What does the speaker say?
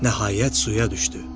Nəhayət suya düşdü.